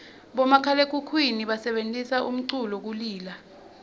bomakhalaekhukhwini basebentisa umculu kulila